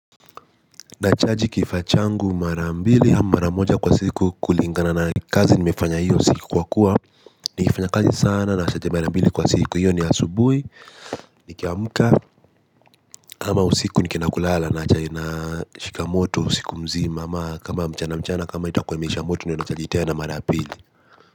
Na chaji kifaa changu marambili hama maramoja kwa siku kulingana na kazi nimefanya hiyo siku kwa kuwa nikifanya kazi sana na chaji marambili kwa siku hiyo ni asubui. Nikiamuka ama usiku ni kinakulala na chaji na shikamoto usiku mzima. Ama kama mchana mchana kama itakua imeisha moto ni unachajitea na marabili.